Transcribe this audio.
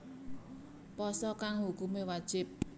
Pasa kang hukumé wajib